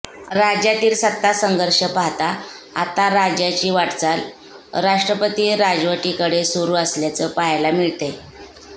राज्यातील सत्तासंघर्ष पाहता आता राज्याची वाटचाल राष्ट्रपती राजवटीकडे सुरु असल्याचं पाहयला मिळतंय